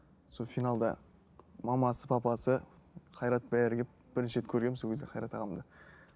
сол финалда мамасы папасы қайрат бәрі келіп бірінші рет көргенмін сол кезде қайрат ағамды